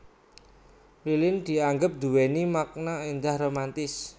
Lilin dianggep nduwéni makna éndah romantis